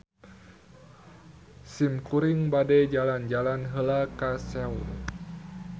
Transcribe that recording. Simkuring bade jalan-jalan heula ka Seoul.